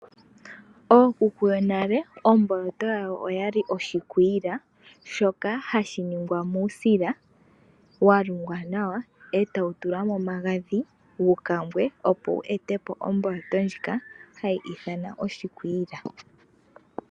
Ookuku yonale, omboloto yawo oya li oshikwiila, shoka hashi ningwa muusila walungwa nawa, e tawu tulwa momagadhi, opo wu etepo omboloto ndjino hayi ithanwa oshikwiila.